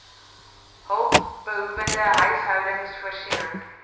hulpbehoewende huishoudings voorsiening